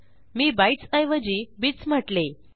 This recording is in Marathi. मी बाइट्स ऐवजी बिट्स म्हटले